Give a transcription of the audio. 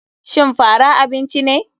Shin fara abinci ne.